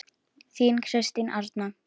Þín Kristín Arna.